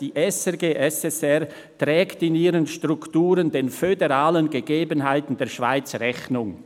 «Die SRG SSR trägt in ihren Strukturen den föderalen Gegebenheiten der Schweiz Rechnung.